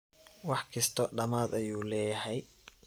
Wax kisto dhamad ayu leyhy.